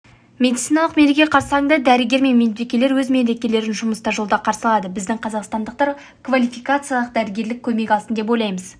медициналық мереке қарсаныңда дәрігер мен медбикелер өз мерекелерін жұмыста жолда қарсы алады біздің қазақстандықтар квалификациялық дәрігерлік көмек алсын деп ойлаймыз